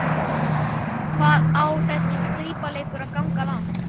Hvað á þessi skrípaleikur að ganga langt?